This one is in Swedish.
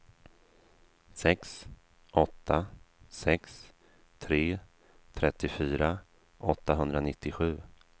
sex åtta sex tre trettiofyra åttahundranittiosju